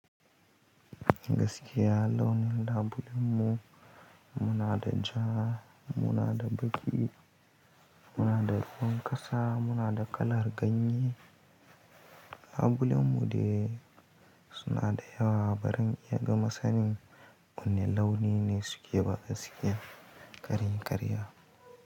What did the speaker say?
Gaskiya launin ambulan mu, muna da ja, muna da baƙi, muna da ruwan ƙasa, muna da kalar ganye. Ambulan mu dai suna da yawa baran iya gama sanin, wane launi ne suke ba gaskiya kar in ƙarya.